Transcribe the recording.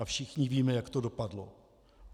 A všichni víme, jak to dopadlo.